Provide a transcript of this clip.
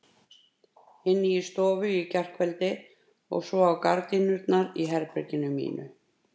Inni í stofu í gærkveldi og svo á gardínurnar í herberginu mínu.